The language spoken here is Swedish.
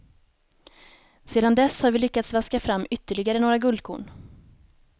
Sedan dess har vi lyckats vaska fram ytterligare några guldkorn.